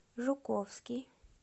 жуковский